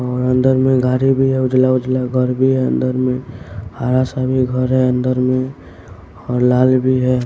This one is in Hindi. और अंदर में गाड़ी भी है उजला उजला घर भी है अंदर में हरा सा भी घर है अंदर में और लाल भी है।